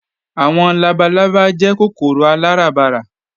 Àwọn labalábá jẹ́ kòkòrò aláràbarà